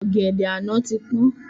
Ọ̀gẹ̀dẹ̀ àná ti pọ́n